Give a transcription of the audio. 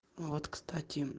вот кстати